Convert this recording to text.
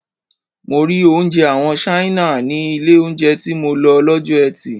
Mo rí oúnjẹ àwọn Ṣáínà ní ilé oúnjẹ tí mo lọ lọ́jọ́ eti.